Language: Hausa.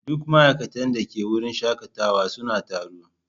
Duk ma'aikatan da ke wurin shakatawa suna taro.